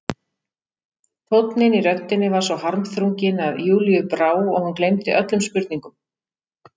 Tónninn í röddinni svo harmþrunginn að Júlíu brá og hún gleymdi öllum spurningum.